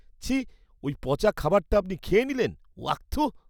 ছিঃ! ওই পচা খাবারটা আপনি খেয়ে নিলেন, ওয়াক থুঃ!